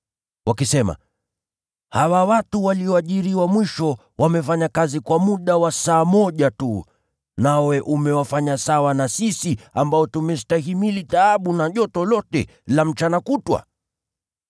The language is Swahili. wakisema, ‘Hawa watu walioajiriwa mwisho wamefanya kazi kwa muda wa saa moja tu, nawe umewafanya sawa na sisi ambao tumestahimili taabu na joto lote la mchana kutwa?’